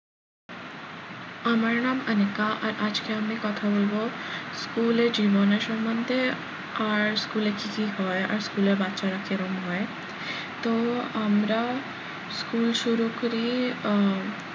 আমার নাম অনিকা আর আজকে আমি কথা বলবো school এ জীবনে সম্বন্ধে আর school এ কি কি হয় আর school এর বাচ্চারা কেমন হয় তো আমরা school শুরু করি আহ